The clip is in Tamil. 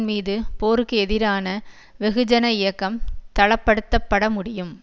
மீது போருக்கு எதிரான வெகுஜன இயக்கம் தளப்படுத்தப்பட முடியும்